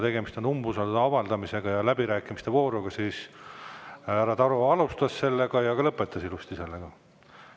Tegemist on umbusalduse avaldamisega ja läbirääkimiste vooruga ning härra Taro alustas sellega ja ka lõpetas ilusti sellega.